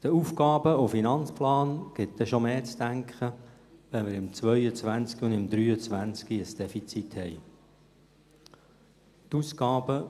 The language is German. Der AFP gibt mehr zu denken, weil wir in den Jahren 2022 und 2023 ein Defizit haben werden.